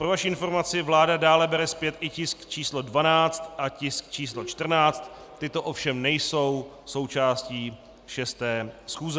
Pro vaši informaci, vláda dále bere zpět i tisk číslo 12 a tisk číslo 14, tyto ovšem nejsou součástí 6. schůze.